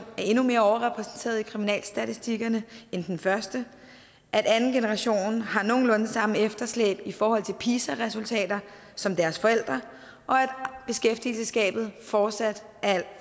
er endnu mere overrepræsenteret i kriminalstatistikken end første at anden generation har nogenlunde samme efterslæb i forhold til pisa resultater som deres forældre og at beskæftigelsesgabet fortsat er alt